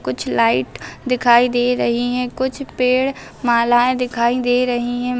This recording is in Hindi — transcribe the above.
कुछ लाइट दिखाई दे रहीं हैं कुछ पेड़ मालाऐं दिखाई दे रहीं हैं।